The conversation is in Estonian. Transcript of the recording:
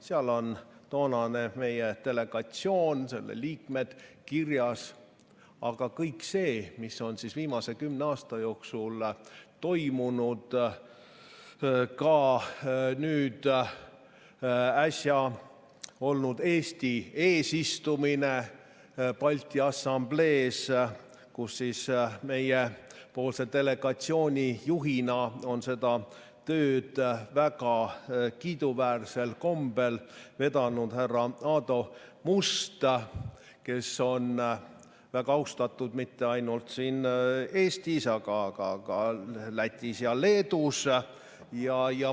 Seal on kirjas toonane meie delegatsioon, selle liikmed, aga ka kõik see, mis on viimase kümne aasta jooksul toimunud, näiteks nüüd äsja olnud Eesti eesistumine Balti Assamblees, kus meie delegatsiooni juhina on seda tööd väga kiiduväärsel kombel vedanud härra Aadu Must, kes on väga austatud mitte ainult siin Eestis, vaid ka Lätis ja Leedus.